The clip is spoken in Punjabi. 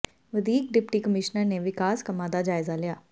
ਵਧੀਕ ਡਿਪਟੀ ਕਮਿਸ਼ਨਰ ਨੇ ਵਿਕਾਸ ਕੰਮਾਂ ਦਾ ਜਾਇਜ਼ਾ ਲਿਆ